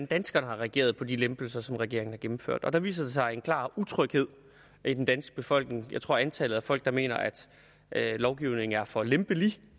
danskerne har reageret på de lempelser som regeringen har gennemført og der viser der sig en klar utryghed i den danske befolkning jeg tror at antallet af folk der mener at lovgivningen er for lempelig